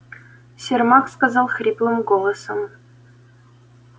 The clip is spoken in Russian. сермак сказал хриплым голосом